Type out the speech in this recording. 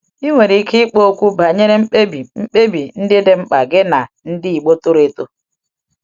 Ị nwere ike ịkpa okwu banyere mkpebi mkpebi ndị dị mkpa gị na ndị Igbo toro eto.